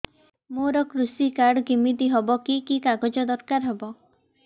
ମୋର କୃଷି କାର୍ଡ କିମିତି ହବ କି କି କାଗଜ ଦରକାର ହବ